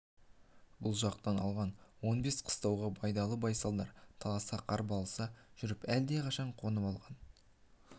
бұл жақтан алған он бес қыстауға байдалы байсалдар таласа қырбайласа жүріп әлдеқашан қонып алған